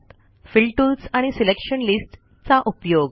fill tools आणि selection list चा उपयोग